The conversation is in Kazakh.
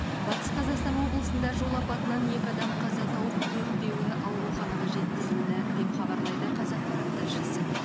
батыс қазақстан облысында жол апатынан екі адам қаза тауып төртеуі ауруханаға жеткізілді деп хабарлайды қазақпарат тілшісі